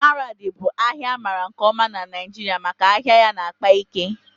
Maradi bụ ahịa amaara nke ọma na Naịjirịa maka ahịa ya na-akpa ike